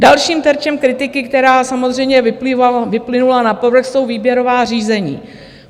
Dalším terčem kritiky, která samozřejmě vyplynula na povrch, jsou výběrová řízení.